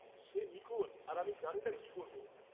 সে নিখোঁজ আর আমি জানি না কি করব।